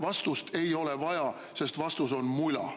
Vastust ei ole vaja, sest vastus on mula.